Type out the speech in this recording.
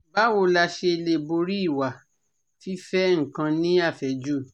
Báwo la ṣe lè borí ìwà fife nkan ni afeju?